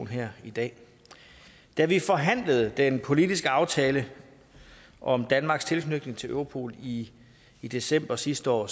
her i dag da vi forhandlede den politiske aftale om danmarks tilknytning til europol i i december sidste år